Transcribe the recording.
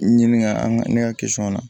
Ɲini ka an ka ne ka na